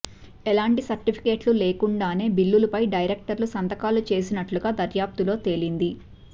ఎలాంటి సర్టిఫికెట్లు లేకుండానే బిల్లులపై డైరెక్టర్లు సంతకాలు చేసినట్లుగా దర్యాప్తులో తేలింది